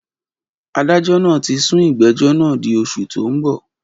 Adájọ́ náà tí sún ìgbẹ́jọ́ náà di oṣù tó ń bọ̀.